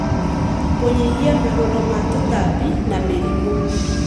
kũnyihia marũrũ ma tũtambi na mĩrimũ.